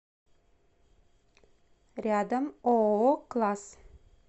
рядом ооо класс